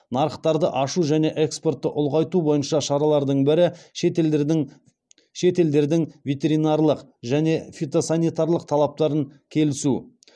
нарықтарды ашу және экспортты ұлғайту бойынша шаралардың бірі шетелдердің ветеринарлық және фитосанитарлық талаптарын келісу